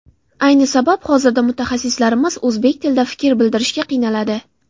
Ayni sabab hozirda mutaxassislarimiz o‘zbek tilida fikr bildirishda qiynaladi.